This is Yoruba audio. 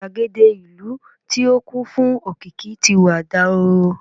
igbagede ìlú ti o kún fún òkìkí ti wà dahoro